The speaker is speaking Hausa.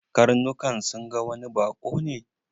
Karnukan sun ga wani baƙo ne.